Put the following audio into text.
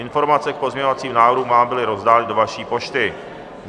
Informace k pozměňovacím návrhům vám byly rozdány do vaší pošty.